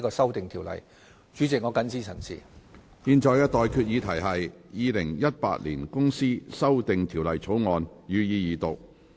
我現在向各位提出的待議議題是：《2018年公司條例草案》，予以二讀。